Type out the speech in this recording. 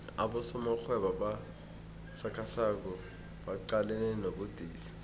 abosomarhwebo abasakhasako baqalene nobudisi